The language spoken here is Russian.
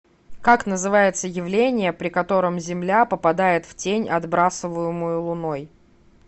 как называется явление при котором земля попадает в тень отбрасываемую луной